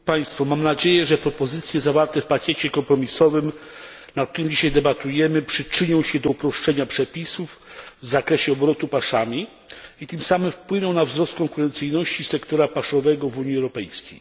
Panie przewodniczący! Mam nadzieję, że propozycje zawarte w pakiecie kompromisowym, nad którym dzisiaj debatujemy, przyczynią się do uproszczenia przepisów w zakresie obrotu paszami i tym samym wpłyną na wzrost konkurencyjności sektora paszowego w Unii Europejskiej.